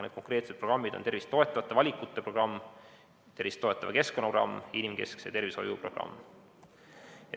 Need konkreetsed programmid on tervist toetavate valikute programm, tervist toetava keskkonna programm ja inimkeskse tervishoiu programm.